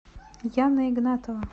яна игнатова